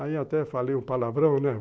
Aí até falei um palavrão, né?